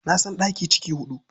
Na san ɗaki ciki huɗu.